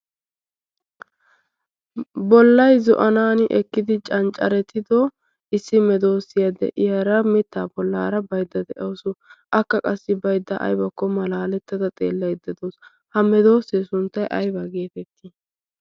bollai zo'anan ekkidi canccaretido issi medoosiyaa de'iyaara mittaa bollaara baydda de'ausu akka qassi baydda aybokko malaalettada xeellayde doos ha medoosee sunttay aybaa geetettii